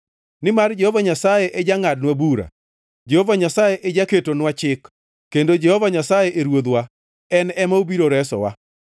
Nimar Jehova Nyasaye e jangʼadnwa bura, Jehova Nyasaye e jaketonwa chik, kendo Jehova Nyasaye e ruodhwa; en ema obiro resowa.